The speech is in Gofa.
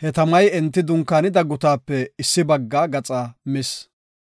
he tamay enti dunkaanida gutaape issi bagga gaxaa mis.